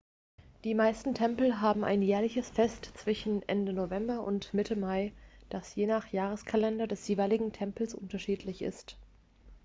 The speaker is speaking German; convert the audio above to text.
die meisten tempel haben ein jährliches fest zwischen ende november und mitte mai das je nach jahreskalender des jeweiligen tempels unterschiedlich ist